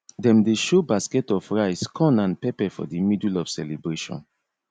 dem dey show basket of rice corn and pepper for the middle of celebration